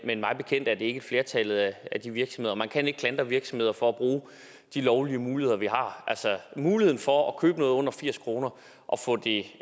men mig bekendt er det ikke flertallet af de virksomheder og man kan ikke klandre virksomheder for at bruge de lovlige muligheder de har muligheden for at købe noget under firs kroner og få det